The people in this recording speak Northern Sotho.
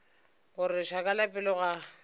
gore lešaka la pelo ga